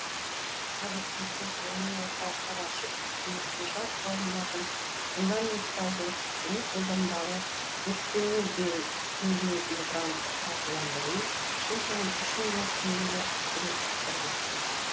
қазір президент ғылыми орталықтар ашып үкіметке жас ғалымдардың фундаменталды және қолданбалы зерттеуіне бөлінетін гранттық қаржыландыру жыл сайын үш миллиард теңгеге арттыру тапсырды